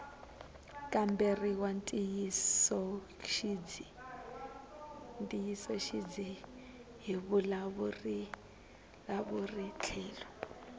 kamberiwa ntiyisoxidzi hi vavulavuri tlhelo